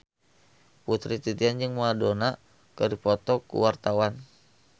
Putri Titian jeung Madonna keur dipoto ku wartawan